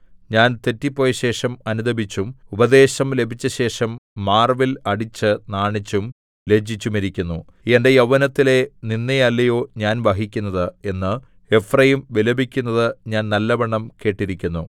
ഞാൻ തെറ്റിപ്പോയശേഷം അനുതപിച്ചും ഉപദേശം ലഭിച്ചശേഷം മാര്‍വില്‍ അടിച്ച് നാണിച്ചും ലജ്ജിച്ചുമിരിക്കുന്നു എന്റെ യൗവനത്തിലെ നിന്ദയല്ലയോ ഞാൻ വഹിക്കുന്നത് എന്ന് എഫ്രയീം വിലപിക്കുന്നത് ഞാൻ നല്ലവണ്ണം കേട്ടിരിക്കുന്നു